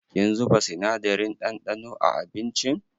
Kin zuba sinadarin ɗanɗano a abincin?